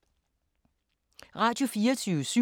Radio24syv